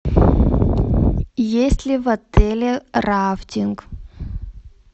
есть ли в отеле рафтинг